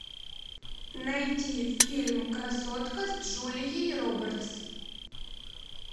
найти фильм красотка с джулией робертс